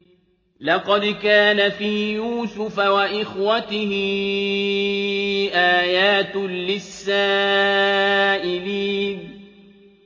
۞ لَّقَدْ كَانَ فِي يُوسُفَ وَإِخْوَتِهِ آيَاتٌ لِّلسَّائِلِينَ